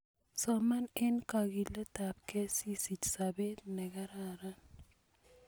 soman eng kakiletab kei asisiich sobeet ne karan